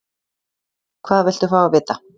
Hvað viltu fá að vita?